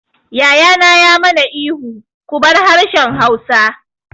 Yaya na ya ma na ihu 'Ku bar harshen Hausa'!